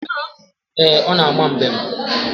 Ee, ọ na-ama mbem.